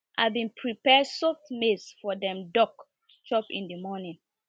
i been prepare soaked maize for dem duck to chop in the morning